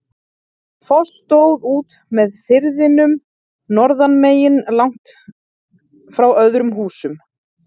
Foss stóð út með firðinum norðanmegin, langt frá öðrum húsum.